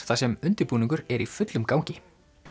þar sem undirbúningur er í fullum gangi